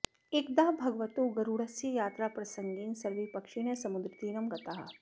एकदा भगवतो गरुडस्य यात्राप्रसङ्गेन सर्वे पक्षिणः समुद्रतीरं गताः